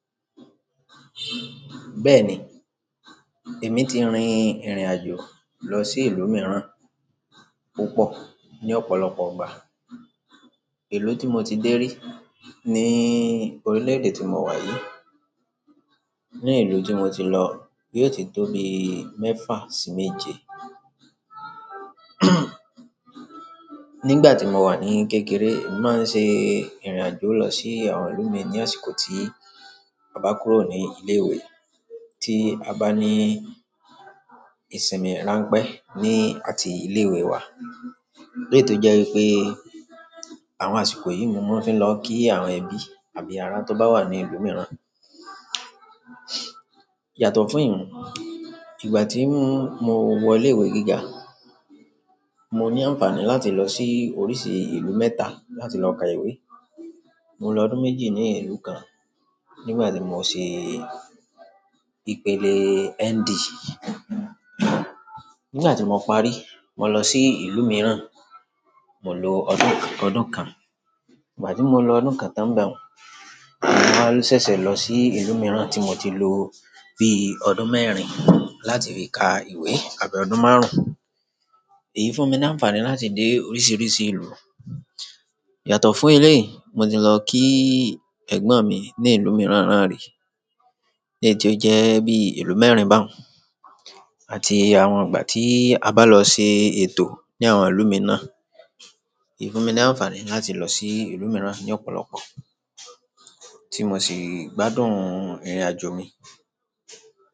Bẹ́ẹ̀ni, emi ti rin irin ajo lọ di ìlú miran pipọ ni ọ̀pọ̀lọpọ̀ ìgbà. Ìlú tí mo ti dé rí ní orílè èdè tí mo wà yìí. Ni ìlú tí mo ti lọ, yóò ti tó bi mẹ́fà sí méje. Nígbà tí mo wà ní kékeré, mo màá ń ṣe ìrìnàjò lọ sí àwọn ìlú mìíràn ní àsìkò tí a bá kúrò ní ilé ìwé, tí a bá ní ìsinmi ránpẹ́ ní àti ilé ìwé wa. Léè tó jẹ́ wípé àwọn àsìkò yìí mo máa ń fi lọ kí àwọn ẹbí àbí ará tó bá wà ní ìlú mìíràn. Yàtọ̀ fún iyun, ìgbà tí mo wọ ilé ìwé gíga, mo ní àǹfààní láti lọ sí oríṣi ìlú mẹ́ta láti lọ ka ìwé. Mo lo ọdún méjì ní ìlú kan nígbà tí mo ṣe ìpele ND. Nígbà tí mo parí, mo lọ sí ìlú mìíràn, mo lo ọdún kan. Ìgbà tí mo lo ọdún kan tán nbẹun, mo wa sẹ̀sẹ̀ lọ sí ìlú mìíràn tí mo ti lo bí ọdún mẹ́rin láti fi ka ìwé àbí ọdún márùn-ún. Èyí fún mi ní àǹfààní láti dé oríṣiríṣi ìlú. Yàtọ̀ fún elei, mo ti lọ ki ẹ̀gbọ́n mi ní ìlú mìíràn náà rí. Léè tí ó jẹ́ bí ìlú mẹ́rin bá òun àti àwọn ìgbà tí a bá lọ ṣe ètò ní àwọn ìlú mìíràn. Èyí fún mi ní àǹfààní láti lọ sí ìlú mìíràn ní ọ̀pọ̀lọpọ̀, tí mo sì gbádùn ìrìnàjò mi.